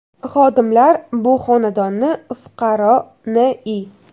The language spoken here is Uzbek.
Xodimlar bu xonadonni fuqaro N.I.